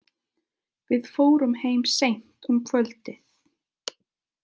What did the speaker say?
Við fórum heim seint um kvöldið.